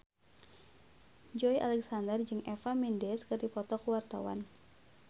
Joey Alexander jeung Eva Mendes keur dipoto ku wartawan